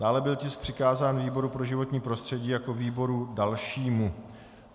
Dále byl tisk přikázán výboru pro životní prostředí jako výboru dalšímu.